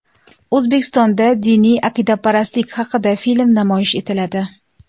O‘zbekistonda diniy aqidaparastlik haqida film namoyish etiladi.